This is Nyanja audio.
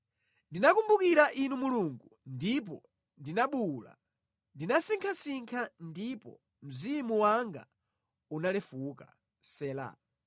Ndinakumbukira Inu Mulungu, ndipo ndinabuwula; ndinasinkhasinkha ndipo mzimu wanga unalefuka. Sela